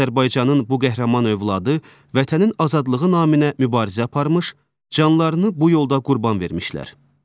Azərbaycanın bu qəhrəman övladı vətənin azadlığı naminə mübarizə aparmış, canlarını bu yolda qurban vermişlər.